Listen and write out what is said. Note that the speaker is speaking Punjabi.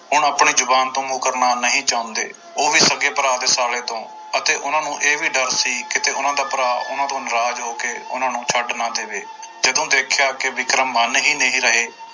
ਹੁਣ ਆਪਣੀ ਜ਼ੁਬਾਨ ਤੋਂ ਮੁਕਰਨਾ ਨਹੀਂ ਚਾਹੁੰਦੇ, ਉਹ ਵੀ ਸਕੇ ਭਰਾ ਦੇ ਸਾਲੇ ਤੋਂ ਅਤੇ ਉਹਨਾਂ ਨੂੰ ਇਹ ਵੀ ਡਰ ਸੀ ਕਿਤੇ ਉਹਨਾਂ ਦਾ ਭਰਾ ਉਹਨਾਂ ਤੋਂ ਨਰਾਜ਼ ਹੋ ਕੇ ਉਹਨਾਂ ਨੂੰ ਛੱਡ ਨਾ ਦੇਵੇ, ਜਦੋਂ ਦੇਖਿਆ ਕਿ ਵਿਕਰਮ ਮੰਨ ਹੀ ਨਹੀਂ ਰਹੇ,